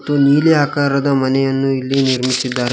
ಮತ್ತು ನೀಲಿ ಆಕಾರದ ಮನೆಯನ್ನು ಇಲ್ಲಿ ನಿರ್ಮಿಸಿದ್ದಾರೆ.